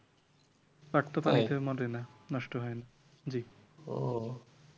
পাট তো পানিতে মরে না নষ্ট হয় না জি